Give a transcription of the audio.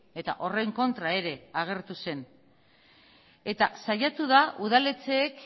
eta horren kontra ere agertu zen eta saiatu da udaletxeek